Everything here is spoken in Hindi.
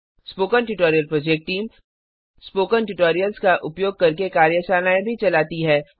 spoken tutorial project team spoken tutorials का उपयोग करके कार्यशालाएँ भी चलाती है